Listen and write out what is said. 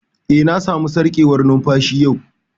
Eh, na samu sarƙewar numfashi yau